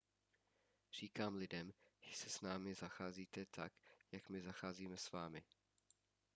říkám lidem že s námi zacházíte tak jak my zacházíme s vámi